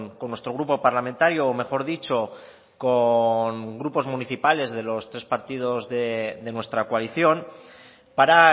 con nuestro grupo parlamentario o mejor dicho con grupos municipales de los tres partidos de nuestra coalición para